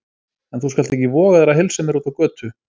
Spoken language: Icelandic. En þú skalt ekki voga þér að heilsa mér úti á götu!